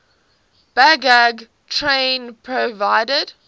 baggage train provided